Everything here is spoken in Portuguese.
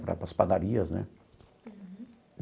Para as padarias, né? Uhum.